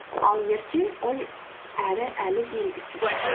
ал ертең ол әлі белгісіз